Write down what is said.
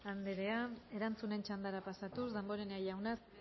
andrea erantzunen txandara pasatuz damborenea jauna